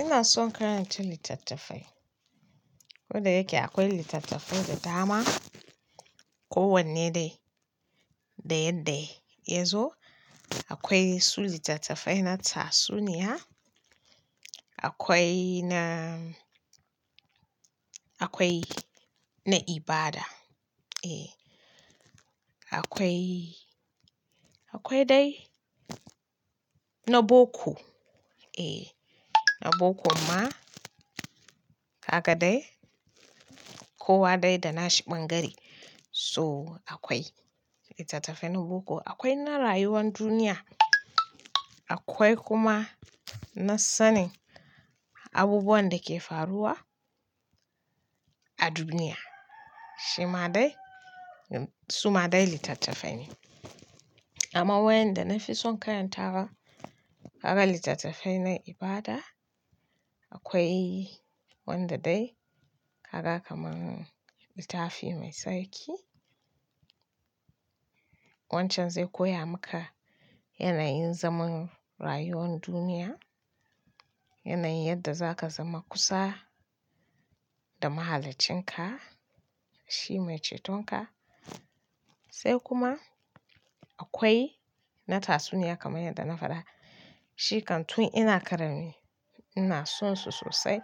ina son karanta littattafai. Koda yake akwai littattafai da dama. Ko wanne dai da yadda ya zo. Akwai su littattafai na tatsuniya, akwai na, akwai na ibada. Eh, akwai, akwai dai na boko. Eh, na bokon ma haka dai. Kowa dai da na shi bangare. So akwai littattafai na boko, akwai na rayuwan duniya, akwai kuma na sanin abubuwan da ke faruwa a duniya. Shi ma dai su ma dai littattafai ne. Amma wayanda na fi son karanta kaga littattafai na ibada. Akwai wanda dai kaga kaman littafi mai sarki. Wancan zai koya maka yanayin zaman rayuwar duniya, yanayin yadda za ka zama kusa da mahaliccinka, shi mai cetonka. Sai kuma akwai na tatsuniya kamar yadda na faɗa. Shi kan tun ina ƙarami ina son su sosai.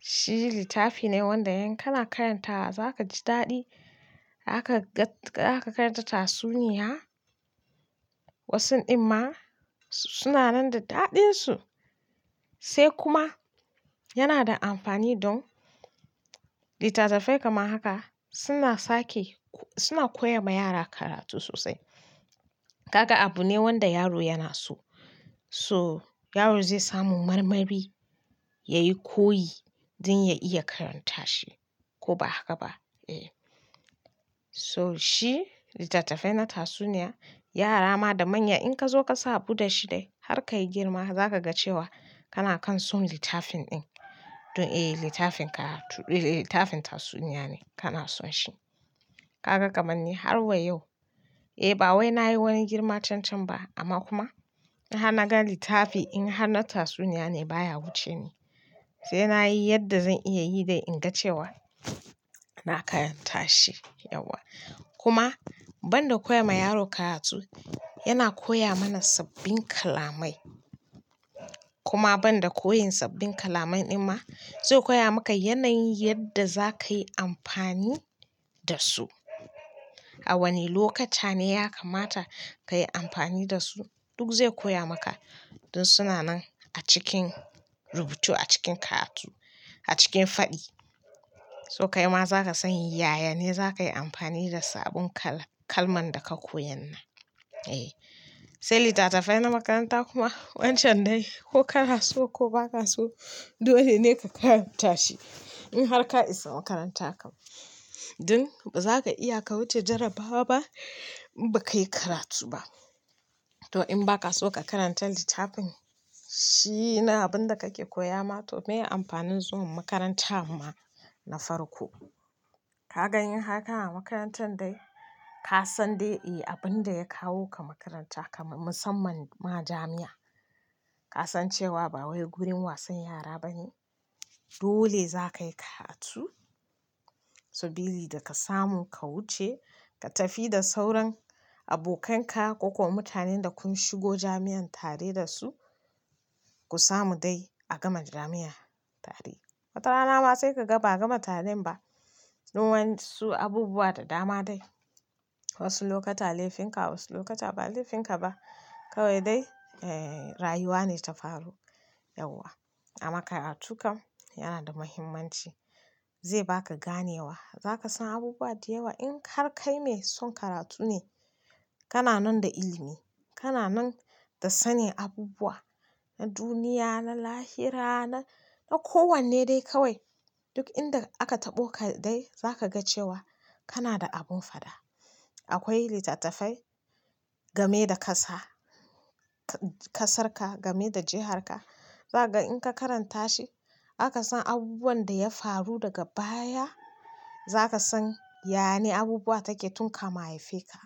Shi littafi ne wanda in kana karanta za ka ji daɗi. Zaka gag zaka karanta tatsuniya. Wasu din ma suna nan da daɗinsu sai kuma yana da amfani don littattafai kaman haka suna sake, suna koya ma yara karatu sosai. Haka abu ne wanda yaro yana so. So yaro zai samu marmari, ya yi koyi don ya iya karanta shi ko ba haka ba. Eh, so shi littattafai na tatsuniya yara ma da manya in ka zo ka sa buɗe shi dai har ka yi girma za ka ga cewa kana kan son littafin ɗin. Don eh, littafinka to eh, littafin tatsuniya ne kana son shi. Kaga kaman ni har wa yau. Eh, ba wai na yi wani girma can can ba amma kuma in har na ga littafi in har na tatsuniya ne baya wuce ni. Sai na yi yadda zan iya yi dai in ga cewa na karanta shi yauwa. Kuma ban da koya ma yaro karatu, yana koya mana sabbin kalamai. Kuma ban da koyin sabbin kalaman din ma zai koya maka yanayin yadda za ka yi amfani da su. A wane lokata ne ya kamata ka yi amfani da su. Duk zai koya maka don suna nan a cikin rubutu, a cikin karatu, a cikin faɗi. So kai ma za ka san yaya ne za ka yi amfani da sabon kala-kalman da ka koyan nan. Eh, sai littattafai na makaranta kuma wancan ne ko ka so ko ba ka so dole ne ka karanta shi. In har ka isa makarantarka kam dun ba za ka iya ka wuce jarabawa ba in ba ka yi karatu ba. To in ba ka so ka karanta littafin shi na abin da kake koya ma to me amfanin zuwa makaranta ma na farko. Ka ga inhar kana a makarantar dai ka san dai eh abin da ya kawo ka makaranta kamar musamman ma jami'a. Ka san cewa ba wai gurin wasan yara ba ne. Dole za ka yi karatu. Sa billi da ka samu ka wuce ka tafi da sauran abokai ka ko kuwa mutanen da kun shigo jami'an tare da su. Ku samu dai a gama jami'a tare. Watarana ma sai kaga ba gama taren ba don wa'ensu abubuwa da dama dai. Wasu lokuta laifinka, wasu lokuta ba laifinka ba. Kawai dai, eh, rayuwa ne ta faru yauwa. Amma karatu kam yana da muhimmanci. Zai ba ka gane wa. Za ka san abubuwa da yawa. In har kai mai son karatu ne kana nan da ilimi, kana nan da sanin abubuwa, na duniya, na lahira, na, na kowanne dai kawai. Duk inda aka taɓo ka dai za ka ga cewa kana da abun fada. Akwai littattafai game da ƙasa, ƙasarka, game da jiharka. Za ka in ka karanta shi aka san abubuwan da ya faru daga baya. Za ka san yane abubuwa take tun kamun a haifeka.